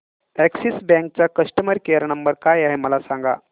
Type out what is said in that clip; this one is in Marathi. अॅक्सिस बँक चा कस्टमर केयर नंबर काय आहे मला सांगा